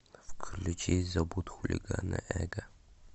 включи забудь хулигана эго